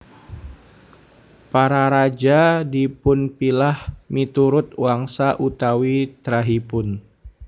Para raja dipunpilah miturut wangsa utawi trahipun